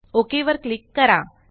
okay वर click करा